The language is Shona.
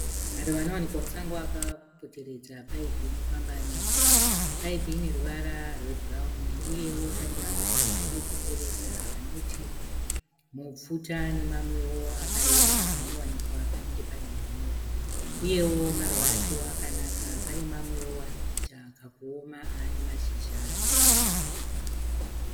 Maruva anowanikwa musango akapoteredza paipi inofamba nemvura paipi ine ruvara rwebhurawuni uyewo pane maruva akaikomberedza anoti mupfuta nemamwewo akareba anowanikwa panenge pane hunyoro uyewo maruva acho akanaka pane mamwewo ari kuita kakuoma ane mashizha ebhurawuni.